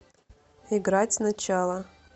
играть сначала